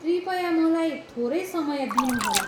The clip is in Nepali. कृपया मलाई थोरै समय दिनुहोला।